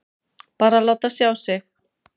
Bara að láta sjá sig.